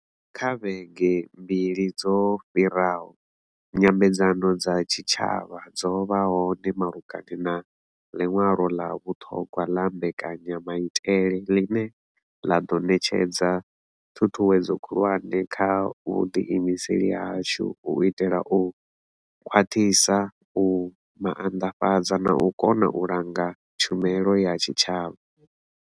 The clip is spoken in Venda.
Kha vhege mbili dzo fhiraho, nyambedzano dza tshitshavha dzo vha hone malugana na ḽiṅwalo ḽa vhuṱhogwa ḽa mbekanyamaitele ḽine ḽa ḓo ṋetshedza ṱhuṱhuwedzo khulwane kha vhuḓiimiseli hashu u itela u khwaṱhisa, u maanḓafhadza na u kona u langa tshumelo ya tshitshavha.